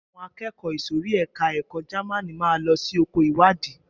Àwọn akẹ́kọ̀ọ́ ìsòrí ẹka ẹ̀kọ́ Jamaní máa lọ sí oko ìwádìí.